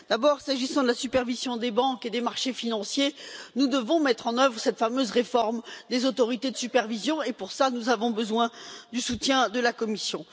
D'abord, s'agissant de la supervision des banques et des marchés financiers, nous devons mettre en œuvre cette fameuse réforme des autorités de supervision, et pour cela nous avons besoin du soutien de la Commission.